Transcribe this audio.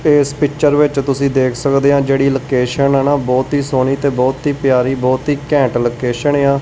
ਤੇ ਇਸ ਪਿੱਚਰ ਵਿੱਚ ਤੁਸੀ ਦੇਖ ਸਕਦੇ ਆਂ ਜਿਹੜੀ ਲੋਕੇਸ਼ਨ ਏ ਨਾ ਬਹੁਤ ਹੀ ਸੋਹਣੀ ਤੇ ਬਹੁਤ ਹੀ ਪਿਆਰੀ ਬਹੁਤ ਹੀ ਘੈਂਟ ਲੋਕੇਸ਼ਨ ਏ ਆ।